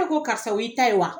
Ne ko karisa o y'i ta ye wa?